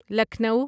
Lucknow